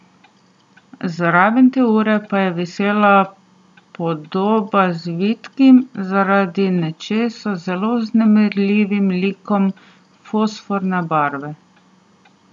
Zraven te ure pa je visela podoba z vitkim, zaradi nečesa zelo vznemirljivim likom fosforne barve.